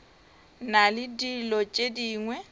na le dilo tše dingwe